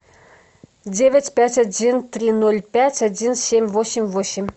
девять пять один три ноль пять один семь восемь восемь